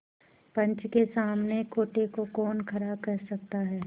पंच के सामने खोटे को कौन खरा कह सकता है